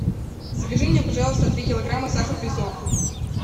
закажи мне пожалуйста три килограмма сахар песок